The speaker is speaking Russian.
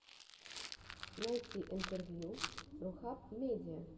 найти интервью рухаб медиа